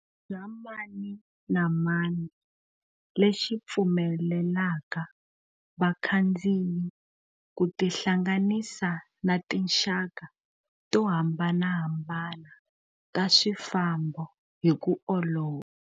Bya mani na mani lexi pfu melelaka vakhandziyi ku tihlanganisa na tinxaka to hambanahambana ta swifambo hi ku olova.